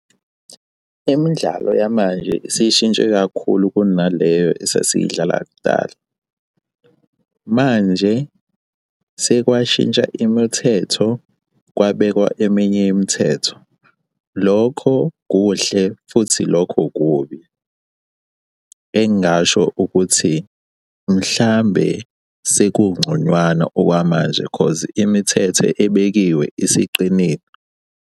Imidlalo yamanje isishintshe kakhulu kunaleyo esasiyidlala kudala. Manje sekwashintsha imithetho kwabekwa eminye imithetho. Lokho kuhle futhi lokho kubi, engingasho ukuthi mhlambe sekungconywana okwamanje cause imithetho ebekiwe isiqinile.